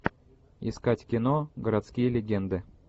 искать кино городские легенды